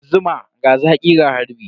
Zuma, ga zaƙi ga harbi.